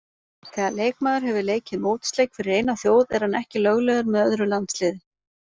Þegar leikmaður hefur leikið mótsleik fyrir eina þjóð er hann ekki löglegur með öðru landsliði.